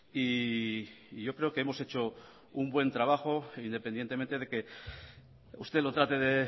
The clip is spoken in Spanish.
y yo creo que hemos hecho un buen trabajo independientemente de que usted lo trate de